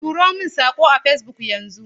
Turo min saƙo a Facebook yanzu!